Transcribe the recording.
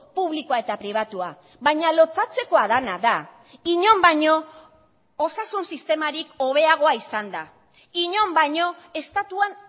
publikoa eta pribatua baina lotsatzekoa dena da inon baino osasun sistemarik hobeagoa izanda inon baino estatuan